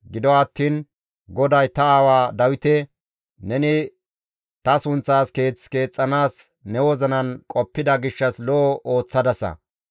Gido attiin GODAY ta aawa Dawite, ‹Neni ta sunththaas keeth keexxanaas ne wozinan qoppida gishshas lo7o ooththadasa.